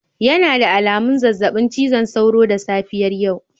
Yana da alamun zazzabin cizon sauro da safiyar yau.